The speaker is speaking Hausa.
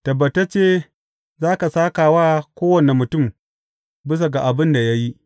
Tabbatacce za ka sāka wa kowane mutum bisa ga abin da ya yi.